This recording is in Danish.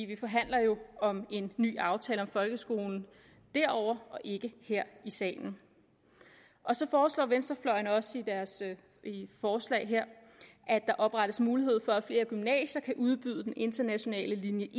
vi forhandler jo om en ny aftale om folkeskolen derovre og ikke her i salen så foreslår venstrefløjen også i deres forslag her at der oprettes mulighed for at flere gymnasier kan udbyde den internationale linje